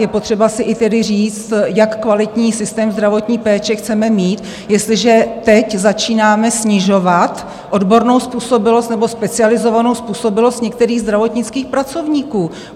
Je potřeba si i tedy říct, jak kvalitní systém zdravotní péče chceme mít, jestliže teď začínáme snižovat odbornou způsobilost nebo specializovanou způsobilost některých zdravotnických pracovníků.